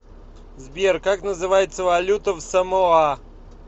сбер как называется валюта в самоа